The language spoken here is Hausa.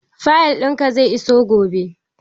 Fayil ɗin ka zai iso gobe